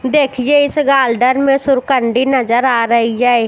देखिये इस गार्डन में सुर्कंडी नज़र आ रई है।